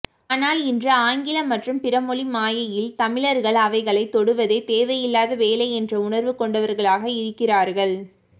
ஆனால் இன்று ஆங்கில மற்றும் பிறமொழி மாயையில் தமிழர்கள் அவைகளைத் தொடுவதே தேவையில்லாத வேலை என்ற உணர்வு கொண்டவர்களாக இருக்கிறார்கள்